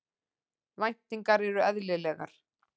Væntingarnar eru eðlilegar